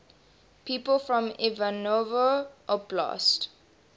people from ivanovo oblast